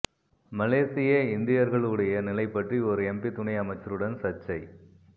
மலேசிய இந்தியர்களுடைய நிலை பற்றி ஒர் எம்பி துணை அமைச்சருடன் சர்ச்சை